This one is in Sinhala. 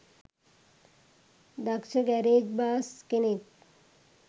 දක්ෂ ගැරේජ් බාස් කෙනෙක්